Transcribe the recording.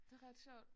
Det ret sjovt